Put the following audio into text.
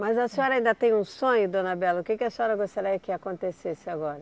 Mas a senhora ainda tem um sonho, dona Bela, o que que a senhora gostaria que acontecesse agora?